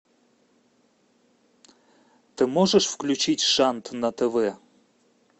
ты можешь включить шант на тв